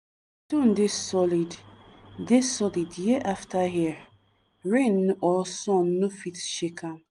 stone dey solid dey solid year after year rain or sun no fit shake am.